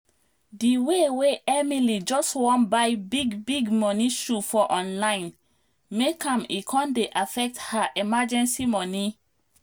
di way way emily just wan buy big big money shoe for online make am e con dey affect her emergency money